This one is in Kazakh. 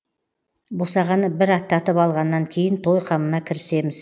босағаны бір аттатып алғанан кейін той қамына кірісеміз